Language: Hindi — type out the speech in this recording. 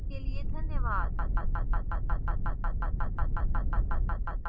iit बॉम्बे से मैं जया आपसे विदा लेती हूं हमसे जुडने के लिए धन्यवाद